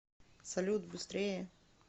салют быстрее